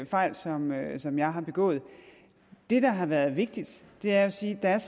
fejl som jeg som jeg har begået det der har været vigtigt er at sige at der